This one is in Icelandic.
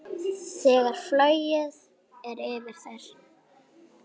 Þegar flogið er yfir þær.